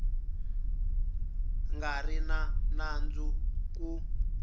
nga ri na nandzu ku